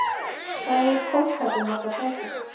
Hvað hefur kolkrabbi marga fætur?